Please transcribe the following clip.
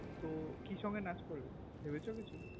তো কি song এ নাচ করবে ভেবেছো কিছু